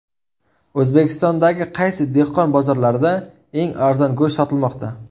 O‘zbekistondagi qaysi dehqon bozorlarida eng arzon go‘sht sotilmoqda?.